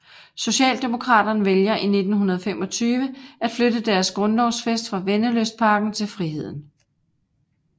Socialdemokraterne vælger i 1925 at flytte deres grundlovsfest fra Vennelystparken til Friheden